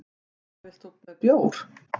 Hvað vilt þú með bjór?